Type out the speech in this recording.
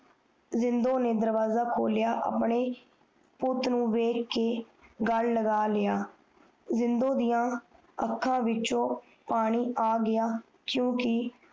ਜਿੰਨਦੋ ਨੇ ਦਰਵਾਜਾ ਖੋਲ੍ਯ੍ਯ ਰੇ ਆਪਣੇ ਪੁੱਤ ਨੂੰ ਦੇਖ ਕੇ ਗਾਲ ਲਗਾ ਲਿਆ ਜਿੰਨਦੋ ਦੀਆ ਅੱਖਾਂ ਵਿਚ ਪਾਣੀ ਆ ਗਯਾ ਕਿਉਕਿ